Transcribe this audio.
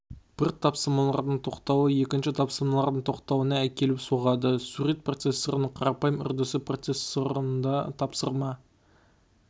бір тапсырмалардың тоқтауы екінші тапсырмалардың тоқтауына әкеліп соғады сурет процессорының қарапайым үрдісі процессорында тапсырма